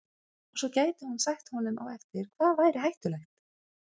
Og svo gæti hún sagt honum á eftir hvað væri hættulegt.